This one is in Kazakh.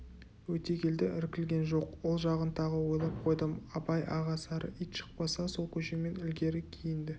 өтегелді іркілген жоқ ол жағын тағы ойлап қойдым абай аға сары ит шықпаса сол көшемен ілгері-кейінді